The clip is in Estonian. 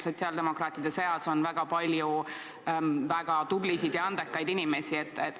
Sotsiaaldemokraatide seas on hästi palju väga tublisid ja andekaid inimesi.